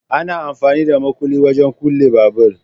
Ana amfani da makulli wajen kulle babur